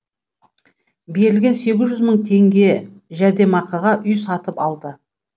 берілген сегіз жүз мың теңге жәрдемақыға үй сатып алды